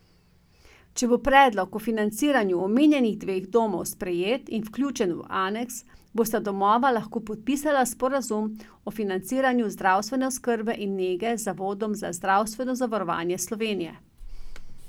Če bo predlog o financiranju omenjenih dveh domov sprejet in vključen v aneks, bosta domova lahko podpisala sporazum o financiranju zdravstvene oskrbe in nege z Zavodom za zdravstveno zavarovanje Slovenije.